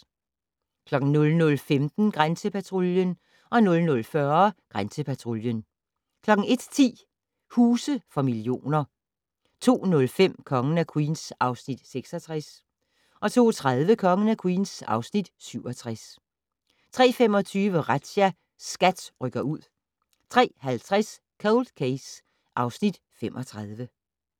00:15: Grænsepatruljen 00:40: Grænsepatruljen 01:10: Huse for millioner 02:05: Kongen af Queens (Afs. 66) 02:30: Kongen af Queens (Afs. 67) 03:25: Razzia - SKAT rykker ud 03:50: Cold Case (Afs. 35)